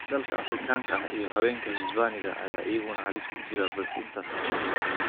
Dalka Afrikaanka ah iyo haweenka Hisbaaniga ah ayaa iyaguna halis ku jira, balse intaas ayaa ka yar.